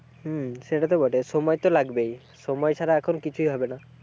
হম সেটাতো বটে, সময় তো লাগবেই, সময় ছাড়া এখন কিছুই হবে না।